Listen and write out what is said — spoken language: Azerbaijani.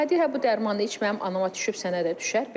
Hə deyir hə bu dərmanı iç mənim anama düşüb sənə də düşər.